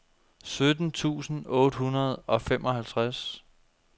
sytten tusind otte hundrede og femoghalvtreds